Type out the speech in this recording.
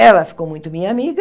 Ela ficou muito minha amiga.